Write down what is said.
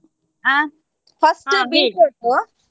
ಹಾ beetroot .